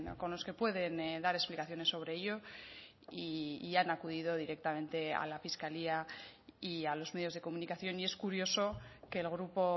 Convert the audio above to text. con los que pueden dar explicaciones sobre ello y han acudido directamente a la fiscalía y a los medios de comunicación y es curioso que el grupo